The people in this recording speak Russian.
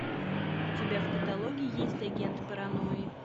у тебя в каталоге есть агент паранойи